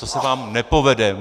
To se vám nepovede.